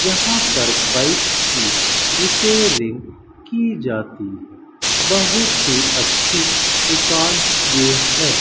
यहां पर बाइक्स की रिपेयरिंग की जाती बहुत ही अच्छी दुकान ये है।